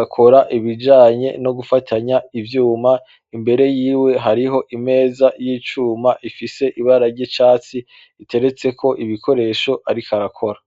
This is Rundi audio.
akora ibijanyer no gufatanya ivyuma, imbere yiwe hari ho imeza y'icuma ifise ibara ry'icatsi, iteretseko ibikoresho ariko arakora.